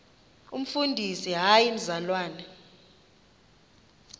umfundisi hayi mzalwana